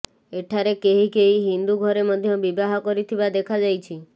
ଏଠାରେ କେହି କେହି ହିନ୍ଦୁ ଘରେ ମଧ୍ୟ ବିବାହ କରିଥିବା ଦେଖାଯାଇଛି